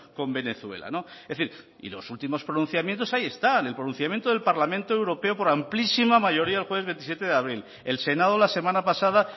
con venezuela es decir y los últimos pronunciamientos ahí están el pronunciamiento del parlamento europeo por amplísima mayoría el jueves veintisiete de abril el senado la semana pasada